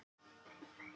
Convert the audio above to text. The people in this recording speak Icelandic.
Það er til ráð.